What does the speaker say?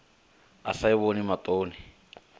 a sa i vhoni maṱoni